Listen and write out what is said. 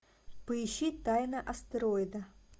поищи тайна астероида